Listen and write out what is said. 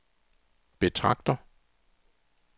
betragter